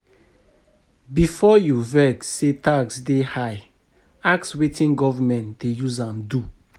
Before you vex say tax dey high, ask wetin government dey use am do.